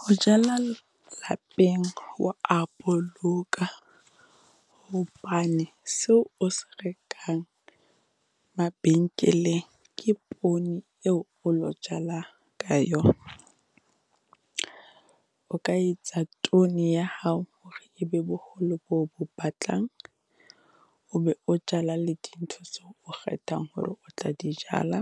Ho jala lapeng ho a boloka hobane seo o se rekang mabenkeleng ke poone eo o lo jalang ka yona. O ka etsa tone ya hao hore e be boholo bo bo batlang, o be o jala le di ntho seo o kgethang hore o tla di jala,